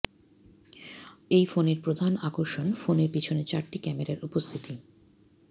এই ফোনের প্রধান আকর্ষন ফোনের পিছনে চারটি ক্যামেরার উপস্থিতি